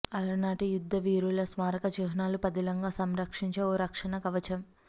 అలనాటి యుద్ధవీరుల స్మారక చిహ్నాలు పదిలంగా సంరక్షించే ఓ రక్షణ కవచం